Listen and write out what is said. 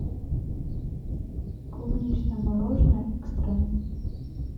клубничное мороженое экстрем